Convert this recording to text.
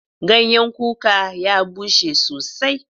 Ganyan kuka ya bushe sosai.